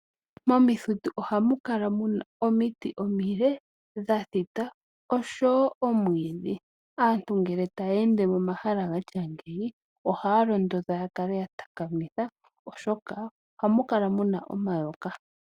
Momithitu oha mu kala muna omiti omile, dha thita osho wo omwiidhi. Aantu ngele ya ya ende momahala ga tya ngeyi, ohaa londodhwa ya kale ya takamitha, oshoka oha mu kala muna omayoka.